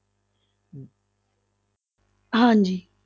ਹਾਂਜੀ।